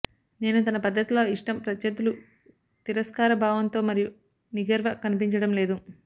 నేను తన పద్ధతిలో ఇష్టం ప్రత్యర్థులు తిరస్కారభావంతో మరియు నిగర్వ కనిపించడం లేదు